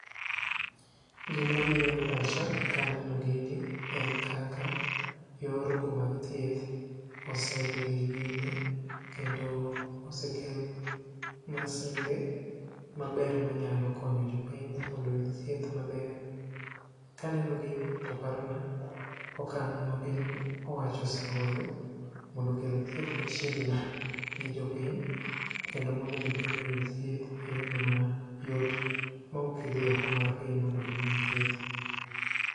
Gimabiro e pacha ka aneno gini en kaka yor kumag thieth osedhiye nyime kendo osekel masinde maber manyalo konyo jopiny mondo oyud thieth maber. Kaneno gini toparona okang' ma piny owacho osegoyo mondo okel thieth machiegni gi jopiny kendo mondo jopiny oyud thieth e yono mayot ma okgidhi oko mar piny mondo gimany thieth.